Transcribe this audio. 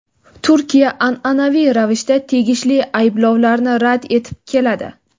Turkiya an’anaviy ravishda tegishli ayblovlarni rad etib keladi.